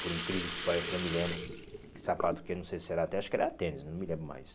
Por incrível que pareça, eu não me lembro que sapato que era, não sei se era até, acho que era tênis, não me lembro mais.